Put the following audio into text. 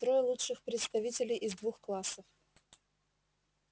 трое лучших представителей из двух классов